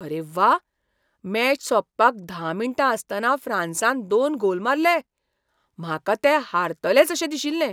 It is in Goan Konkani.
अरे व्वा! मॅच सोंपपाक धा मिण्टां आसतना फ्रांसान दोन गोल मारले! म्हाका ते हारतलेच अशें दिशिल्लें.